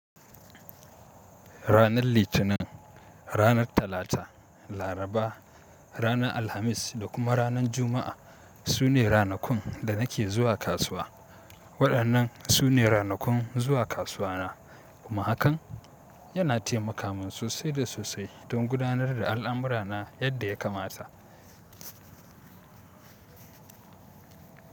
Ranar Litinin, ranar Talata, Laraba, ranar Alhamis da kuma ranar Juma'a su ne ranakun da nake zuwa kasuwa. Waɗannan su ne ranakun zuwa kasuwa na, kuma hakan yana taimaka min sosai da sosai don gudanar da al'amura na yadda ya kamata.